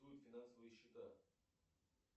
финансовые счета